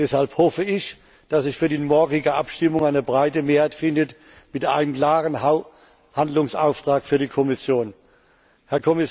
Deshalb hoffe ich, dass sich für die morgige Abstimmung eine breite Mehrheit mit einem klaren Handlungsauftrag für die Kommission findet.